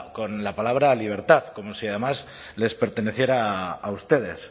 con la palabra libertad como si además les perteneciera a ustedes